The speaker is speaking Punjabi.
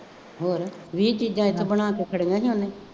ਹੋਰ ਵੀਹ ਚੀਜ਼ਾਂ ਇੱਥੇ ਬਣਾ ਕੇ ਖੜੀਆਂ ਨੇ